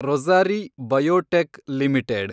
Rossari biotech limited